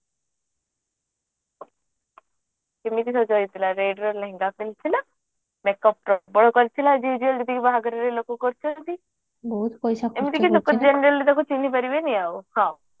କେମିତି ସଜ ହେଇଥିଲା red ର ଲେହେଙ୍ଗା ପିନ୍ଧିଥିଲା make up ପ୍ରବଳ କରିଥିଲା as well as ଯେତିକି ବାହାଘରରେ make up କରୁଛନ୍ତି ଏମିତି ଲୋକ generally ତାକୁ ପିନ୍ଧେଇ ପାରିବେନି ଆଉ